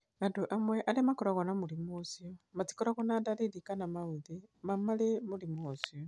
Andũ amwe arĩa makoragwo na mũrimũ ũcio matikoragwo na ndariri kana maũthĩ ma marĩ mũrimũ ũcio.